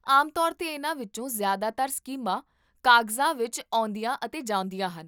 ਆਮ ਤੌਰ 'ਤੇ, ਇਹਨਾਂ ਵਿੱਚੋਂ ਜ਼ਿਆਦਾਤਰ ਸਕੀਮਾਂ ਕਾਗਜ਼ਾਂ ਵਿੱਚ ਆਉਂਦੀਆਂ ਅਤੇ ਜਾਂਦੀਆਂ ਹਨ